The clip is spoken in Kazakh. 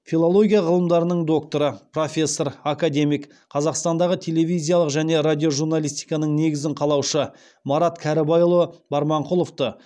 филология ғылымдарының докторы профессор академик қазақстандағы телевизиялық және радиожурналистиканың негізін қалаушы марат кәрібайұлы барманқұловты